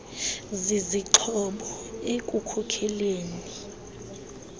zizixhobo ekukhokeleni igpg